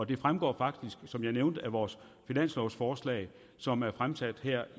det fremgår faktisk som jeg nævnte af vores finanslovforslag som er fremsat her